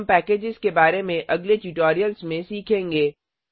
हम पैकेज के बारे में अगले ट्यूटोरियल्स में सीखेंगे